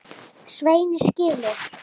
Svenni skilur.